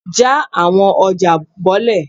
ja awọn ọja bolẹ!